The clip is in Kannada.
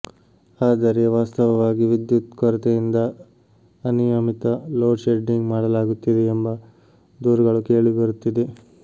ಆದರೆ ವಾಸ್ತವವಾಗಿ ವಿದ್ಯುತ್ ಕೊರತೆಯಿಂದ ಅನಿಯಮಿತ ಲೋಡ್ ಶೆಡ್ಡಿಂಗ್ ಮಾಡಲಾಗುತ್ತಿದೆ ಎಂಬ ದೂರುಗಳು ಕೇಳಿಬರುತ್ತಿದೆ